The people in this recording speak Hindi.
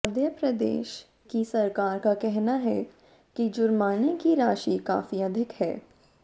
मध्य प्रदेश की सरकार का कहना है कि जुर्माने की राशि काफी अधिक है